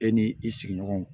E ni i sigiɲɔgɔnw